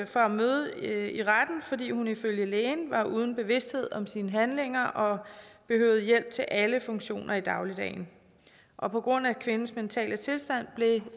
fra at møde i retten fordi hun ifølge lægen var uden bevidsthed om sine handlinger og behøvede hjælp til alle funktioner i dagligdagen og på grund af kvindens mentale tilstand blev